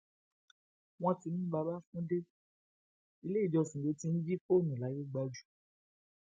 wọn ti mú bàbáfúńde ilé ìjọsìn ló ti ń jí fóònù làìyégbájú